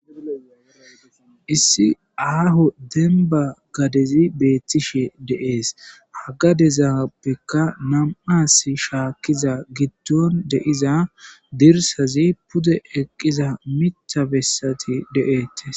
Issi aaho denba gadezi beettishe deees hagadezapbekka nam,as shaakkiza giddon deiza dirsazi pude eqqiza mita bessati de,eettes.